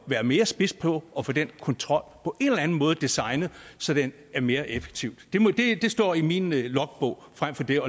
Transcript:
være mere spids på at få den kontrol designet så den er mere effektiv det står i min logbog frem for det